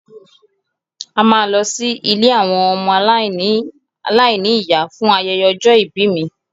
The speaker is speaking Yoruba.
A máa lọ sí ilé àwọn ọmọ aláìní ìyá fún ayẹyẹ ọjọ́ ìbí mi